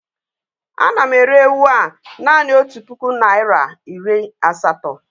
Ana m ere ewu a naanị otu puku naịra iri asatọ